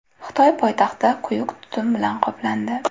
Xitoy poytaxti quyuq tutun bilan qoplandi .